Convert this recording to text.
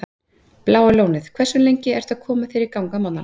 Bláa Lónið Hversu lengi ertu að koma þér í gang á morgnanna?